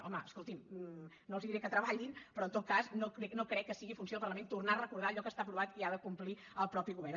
home escoltin no els diré que treballin però en tot cas no crec que sigui funció del parlament tornar a recordar allò que està aprovat i ha de complir el mateix govern